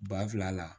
Ba fila la